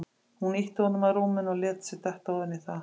Hún ýtti honum að rúminu og lét sig detta ofan í það.